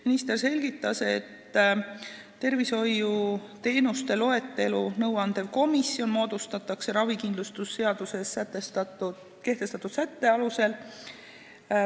Minister selgitas, et nõuandev tervishoiuteenuste loetelu komisjon moodustatakse ravikindlustuse seaduse sätte alusel.